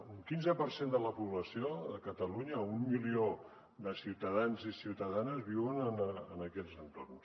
un quinze per cent de la població de catalunya un milió de ciutadans i ciutadanes viuen en aquests entorns